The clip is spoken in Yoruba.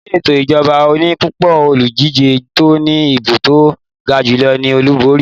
Ni ẹto ìjọba oní pupo, Olùdíje tó ní ìbò to gajulo ní Olúborí